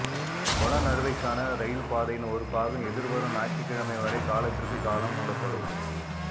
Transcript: பொலநறுவைக்கான rail பாதையின் ஒருபாகம் எதிர்வரும் ஞாயிற்றுக்கிழமை வரை காலத்திற்கு காலம் மூடப்படும்